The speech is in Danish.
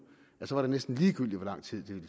så er det næsten ligegyldigt hvor lang tid det vil